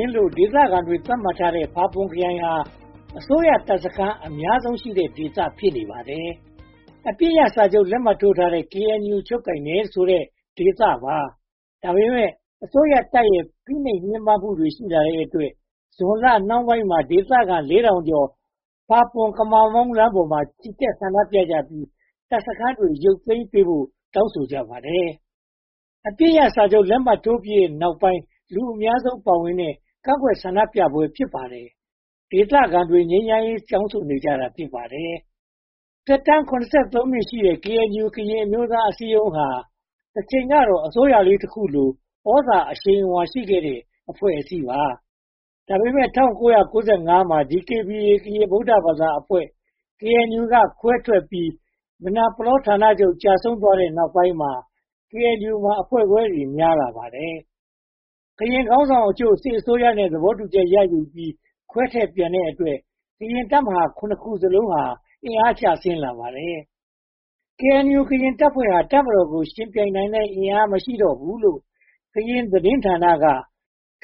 ဉ်လို့ ဒေသခံတွေ သတ်မှတ်ထားတဲ့ ဖာပွန်ခရိုင်ဟာ အစိုးရတပ်စခန်း အများဆုံးရှိတဲ့ဒေသ ဖြစ်ပါတယ်။ အပစ်ရပ်စာချုပ် လက်မှတ်ထိုးထားတဲ့ KNU ချုပ်ကိုင်တယ်ဆိုတဲ့ ဒေသပါ။ ဒါပေမဲ့ အစိုးရတပ်ရဲ့ ဖိနှိပ်ညှဉ်းပန်းမှုတွေ ရှိလာတဲ့အတွက် ဇူလိုင်လနှောင်းပိုင်းမှာ ဒေသခံ (၄၀၀၀) ကျော် ဖာပွန်/ကမမောင်း လမ်းမပေါ်မှာ ချီတက်ဆန္ဒပြကြပြီး တပ်စခန်းတွေ ရုတ်သိမ်းပေးဖို့ တောင်းဆိုကြပါတယ်။ အပစ်ရပ်စာချုပ် လက်မှတ်ထိုးပြီးတဲ့နောက်ပိုင်း လူအများဆုံးပါဝင်တဲ့ ကန့်ကွက်ဆန္ဒပြပွဲ ဖြစ်ပါတယ်။ ဒေသခံတွေက ငြိမ်းချမ်းရေး တောင်းဆိုနေကြတာ ဖြစ်ပါတယ်။ သက်တမ်း (၇၃) နှစ်ရှိတဲ့ KNU ကရင်အမျိုးသားအစည်းအရုံးဟာ တချိန်ကတော့ အစိုးရလေးတခုလို သြဇာအရှိန်အဝါ ရှိခဲ့တဲ့ အဖွဲ့အစည်းပါ။ ဒါပေမဲ့ ၁၉၉၅ မှာ DKBA ကရင် ဗုဒ္ဓဘာသာအဖွဲ့ KNU က ခွဲထွက်ပြီး မယ်နာပလောဌာနချုပ် ကျဆုံးသွားတဲ့နောက်ပိုင်းမှာ KNU မှာ အဖွဲ့ခွဲတွေ များလာပါတယ်။ KNU ခေါင်းဆောင်အချို့ စစ်အစိုးရနဲ့ သဘောတူချက်ရယူပြီး ခွဲထွက်ပြန်တဲ့အတွက် ကရင်တပ်မဟာ (၇) ခုစလုံး အင်အားကျဆင်းလာပါတယ်။ KNU တပ်ဖွဲ့ဟာ တပ်မတော်ကို ယှဉ်ပြိုင်နိုင်တဲ့ အင်အားမရှိတော့ဘူးလို့ ကရင်သတင်းဌာနရဲ့